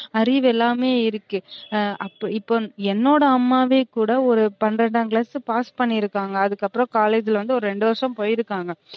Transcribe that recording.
அறிவு எல்லாமே இருக்கு அப்போ இப்ப என்னோட அம்மாவே கூட ஒரு பன்ரெண்டாம class pass பண்ணிருக்காங்க அதுக்கப்பறம் college ல வந்து ஒரு ரெண்டு வருஷம் போய்யிருக்காங்க